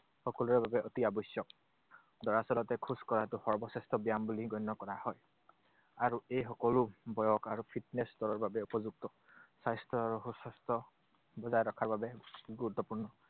সকলোৰে বাবে অতি আৱশ্যক। দৰাচলতে খোজ কঢ়াটো সৰ্বশ্ৰেষ্ঠ ব্যায়াম বুলি গণ্য কৰা হয়। আৰু এই সকলো বয়স আৰু fitness ৰ বাবে উপযুক্ত। স্বাস্থ্য আৰু সুস্বাস্থ্য বজাই ৰখাৰ বাবে গুৰুত্বপূৰ্ণ।